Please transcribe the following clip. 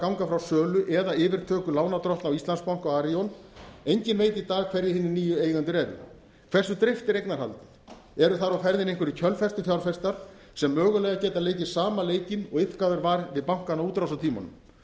ganga frá sölu eða yfirtöku lánardrottna á íslandsbanka og arion engin veit í dag hverjir hinir nýju eigendur eru hversu dreift er eignarhaldið eru þar á ferðinni einhverjir kjölfestufjárfestar sem mögulega geta leikið sama leikinn og iðkaður var við bankana á útrásartímanum hvers